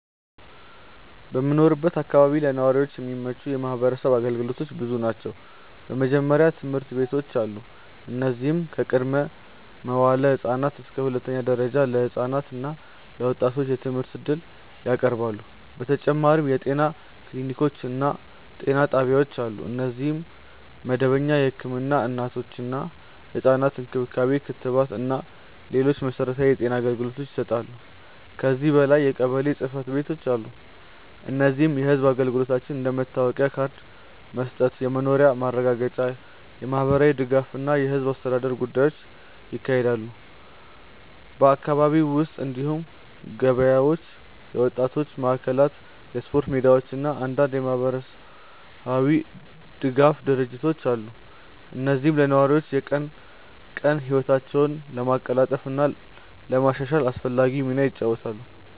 በምኖርበት አካባቢ ለነዋሪዎች የሚገኙ የማህበረሰብ አገልግሎቶች ብዙ ናቸው። በመጀመሪያ ትምህርት ቤቶች አሉ፣ እነዚህም ከቅድመ-መዋዕለ ህፃናት እስከ ሁለተኛ ደረጃ ድረስ ለህፃናት እና ለወጣቶች የትምህርት እድል ያቀርባሉ። በተጨማሪም የጤና ክሊኒኮች እና ጤና ጣቢያዎች አሉ፣ እነዚህም መደበኛ ህክምና፣ እናቶችና ህፃናት እንክብካቤ፣ ክትባት እና ሌሎች መሠረታዊ የጤና አገልግሎቶችን ይሰጣሉ። ከዚህ በላይ የቀበሌ ጽ/ቤቶች አሉ፣ እነዚህም የህዝብ አገልግሎቶችን እንደ መታወቂያ ካርድ መስጠት፣ የመኖሪያ ማረጋገጫ፣ የማህበራዊ ድጋፍ እና የህዝብ አስተዳደር ጉዳዮችን ያካሂዳሉ። በአካባቢው ውስጥ እንዲሁም ገበያዎች፣ የወጣቶች ማዕከላት፣ የስፖርት ሜዳዎች እና አንዳንድ የማህበራዊ ድጋፍ ድርጅቶች አሉ፣ እነዚህም ለነዋሪዎች የቀን ቀን ህይወታቸውን ለማቀላጠፍ እና ለማሻሻል አስፈላጊ ሚና ይጫወታሉ።